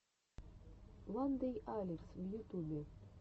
вандэйалекс в ютюбе